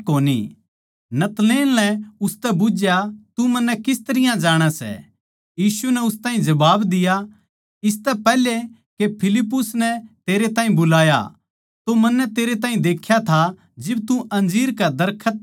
नतनएल नै उसतै बुझ्झया तू मन्नै किस तरियां जाणै सै यीशु नै उस ताहीं जबाब दिया इसतै पैहल्या के फिलिप्पुस नै तेरे ताहीं बुलाया तो मन्नै तेरै ताहीं देख्या था जिब तू अंजीर कै दरखत तळै था